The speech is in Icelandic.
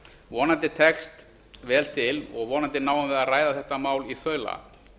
vonandi tekst vel til og vonandi náum við að ræða þetta mál í þaula